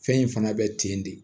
Fɛn in fana bɛ ten de